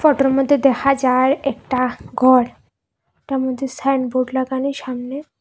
ফতোর মধ্যে দেখা যায় একটা ঘর ঘরটার মধ্যে সাইনবোর্ড লাগানি সামনে